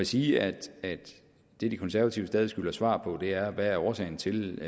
sige at det de konservative stadig skylder svar på er hvad årsagen til